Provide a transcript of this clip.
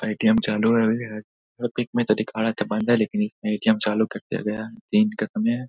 ATM. चालू है मतलब पिक में तो दिखा रहा था बंद है लेकिन इसमे ए.टी.एम. चालू कर दिया गया है। दिन का समय है।